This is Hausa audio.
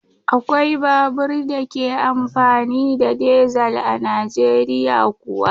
Akwai babur da ke amfani da dizel a Najeriya kuwa.